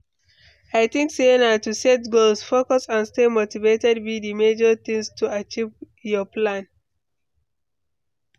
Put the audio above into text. i think say na to set goals, focus and stay motivated be di major thing to achieve your plan.